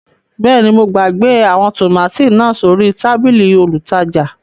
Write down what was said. Bẹẹni, mo gbagbe awọn tomati naa sori tabili olútajà